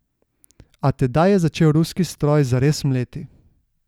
A tedaj je začel ruski stroj zares mleti.